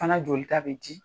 Fana jolita bɛ di.